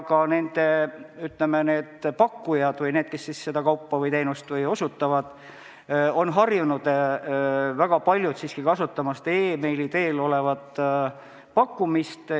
Ka väga paljud pakkujad või need, kes hangitavat kaupa müüvad või teenust osutavad, on siiski harjunud e-maili teel tehtava pakkumisega.